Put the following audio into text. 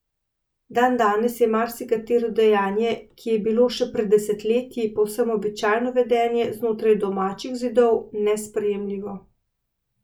Dandanes je marsikatero dejanje, ki je bilo še pred desetletji povsem običajno vedenje znotraj domačih zidov, nesprejemljivo.